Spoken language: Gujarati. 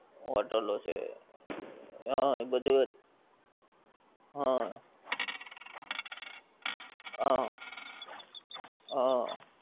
hotel લો છે હા એ બધે હા હા હા